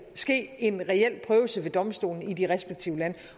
ske en reel prøvelse ved domstolene i de respektive lande